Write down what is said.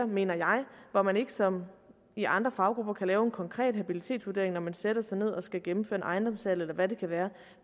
mener jeg hvor man ikke som i andre faggrupper kan lave en konkret habilitetsvurdering når man sætter sig ned og skal gennemføre en ejendomshandel eller hvad det kan være